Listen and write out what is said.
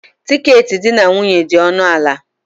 Tiketi di na nwunye dị ọnụ ala.